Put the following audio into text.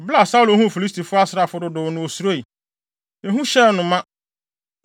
Bere a Saulo huu Filistifo asraafo no dodow no, osuroe; ehu hyɛɛ ne koma ma.